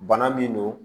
Bana min don